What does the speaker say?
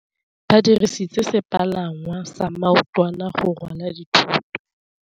Ba dirisitse sepalangwasa maotwana go rwala dithôtô.